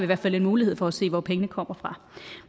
hvert fald en mulighed for at se hvor pengene kommer fra